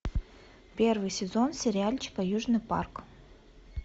первый сезон сериальчика южный парк